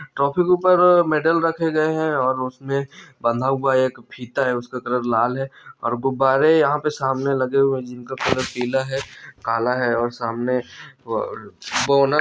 trophy के ऊपर medal रखे गये है और उसमें बँधा हुआ एक फीता है उसका कलर लाल है और गुब्बारे यहाँ पे सामने लगे हुए है जिनका कलर पीला है काला है और सामने वो--